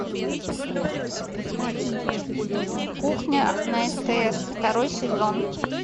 кухня на стс второй сезон